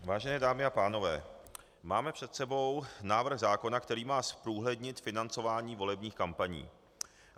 Vážené dámy a pánové, máme před sebou návrh zákona, který má zprůhlednit financování volebních kampaní.